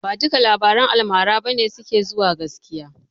Ba dukkan labaran almara ba ne suke gaskiya.